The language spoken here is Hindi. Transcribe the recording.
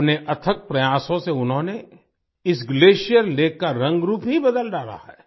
अपने अथक प्रयासों से उन्होंने इस ग्लेशियर लेक का रंग रूप ही बदल डाला है